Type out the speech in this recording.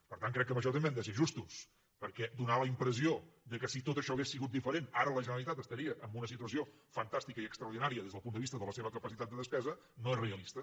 per tant crec que en això també han de ser justos perquè donar la impressió que si tot això hagués sigut diferent ara la generalitat estaria en una situació fantàstica i extraordinària des del punt de vista de la seva capacitat de despesa no és realista